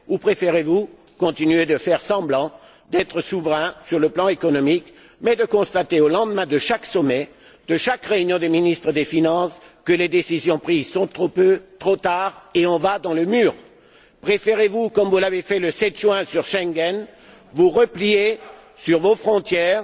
Ou préférez vous continuer à faire semblant d'être souverains sur le plan économique mais en constatant, au lendemain de chaque sommet, de chaque réunion des ministres des finances, que les décisions prises sont insuffisantes, trop tardives et qu'on va dans le mur? Préférez vous, comme vous l'avez fait le 7 juin sur Schengen, vous replier sur vos frontières,